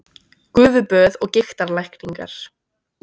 Gufuböð og gigtarlækningar